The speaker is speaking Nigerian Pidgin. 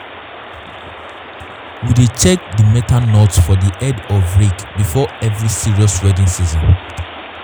we dey check di metal nut for di head of rake before every serious weeding season.